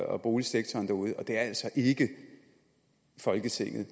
og boligsektoren derude det er altså ikke folketinget